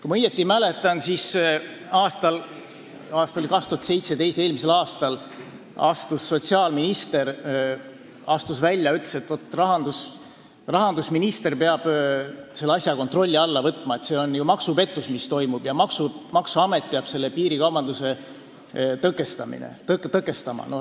Kui ma õigesti mäletan, siis eelmisel aastal, 2017. aastal astus sotsiaalminister välja ja ütles, et rahandusminister peab selle asja kontrolli alla võtma, et see on ju maksupettus, mis toimub, ja maksuamet peab piirikaubandust tõkestama.